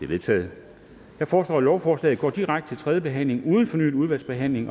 vedtaget jeg foreslår at lovforslaget går direkte til tredje behandling uden fornyet udvalgsbehandling